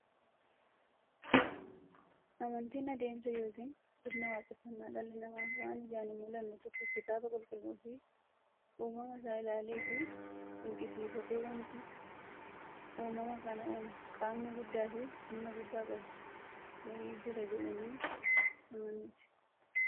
Amantiin adeemsa yookiin sirna waaqeffannaa dhalli namaa waan ijaan hinmullanne tokko kitaaba qulqulluufi uumama isaa ilaaleefi dinqisiifatee, wanti uumama kana uumu qaamni guddaafi humna guddaa qabu wa'ii jira jedhanii amanuuti.